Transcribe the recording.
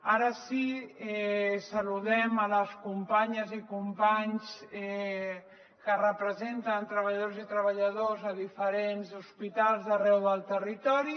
ara sí saludem les companyes i companys que representen treballadores i treballadors de diferents hospitals d’arreu del territori